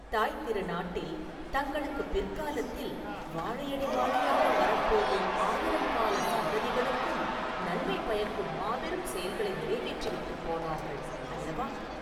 தாய்த் திருநாட்டில் தங்களுக்குப் பிற்காலத்தில் வாழையடி வாழையாக வரப்போகும் ஆயிரங்கால சந்ததிகளுக்கும் நன்மை பயக்கும் மாபெரும் செயல்களை நிறைவேற்றி விட்டுப் போனார்கள் அல்லவா?